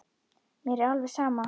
Mér er alveg sama